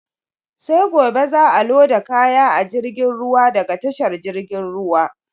Sai gobe za a loda kaya a jirgin ruwa daga tashar jirgin ruwa.